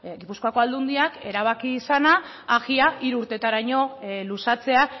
gipuzkoako aldundiak erabaki zena agi hiru urtetaraino luzatzea